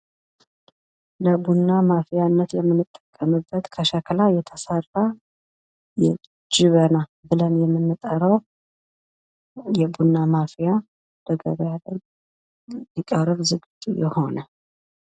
ለቡና ማፍሊያነት የምንጠቀምበት ከሸክላ የተሰራ ጀበና ብለን የምንጠራው የቡና ማፍያ ሊቀርብ ዝግጁ የሆነ።